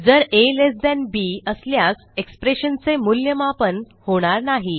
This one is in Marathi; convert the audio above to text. जर आ लेस थान बी असल्यासexpression चे मूल्यमापन होणार नाही